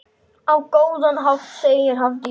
Á góðan hátt, segir Hafdís.